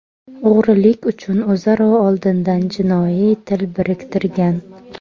o‘g‘rilik uchun o‘zaro oldindan jinoiy til biriktirgan.